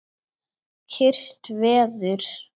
Kyrrt veður.